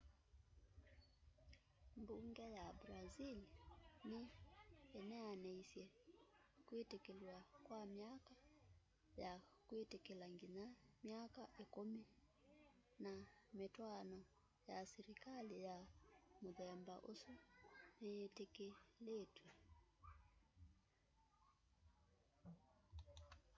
mbunge ya brazil ni ineenaniisye kwitikilw'a kwa myaka ya kwitikila nginya myaka 10 na mitwaano ya silikali ya muthemba usu niyitiki